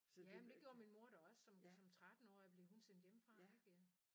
Jamen det gjorde min mor da også som som 13 årig blev hun sendt hjemme fra ik øh